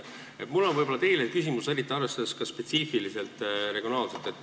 Mul on teile küsimus, arvestades ka regionaalset spetsiifikat.